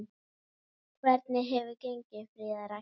Hvernig hefur gengið, Fríða Rakel?